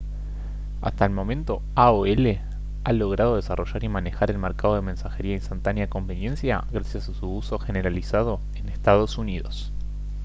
hasta el momento aol ha logrado desarrollar y manejar el mercado de mensajería instantánea a conveniencia gracias a su uso generalizado en ee uu